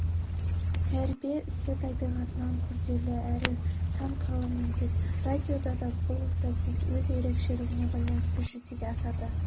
тәрбие ісі табиғатынан күрделі әрі сан қырлы міндет радиода да бұл процесс өз ерекшелігіне байланысты жүзеге асады